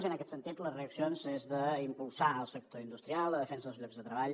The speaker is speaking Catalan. i en aquest sentit les reaccions són impulsar el sector industrial la defensa dels llocs de treball